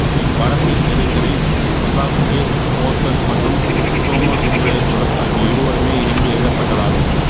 இப்படத்தின் திரைக்கதை பிரதாப் கே போத்தன் மற்றும் சோமசுந்தரேசுவரர் ஆகிய இருவருமே இணைந்து எழுதப்பட்டதாகும்